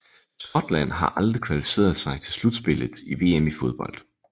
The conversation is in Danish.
Scotland har aldrig kvalificeret sig til slutspillet i VM i fodbold